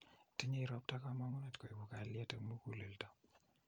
Tinyei ropta kamuget kuibu kalyet om mukulelto.